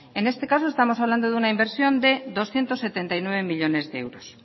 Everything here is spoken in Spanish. en este caso estamos hablando de una inversión de doscientos setenta y nueve millónes de euros